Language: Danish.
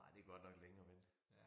Ej det godt nok længe at vente